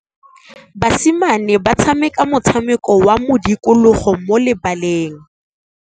Basimane ba tshameka motshameko wa modikologô mo lebaleng.